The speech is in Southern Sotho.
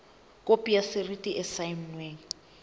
khopi ya rasiti e saennweng